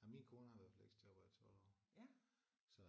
Jamen min kone har været fleksjobber i 12 år så øh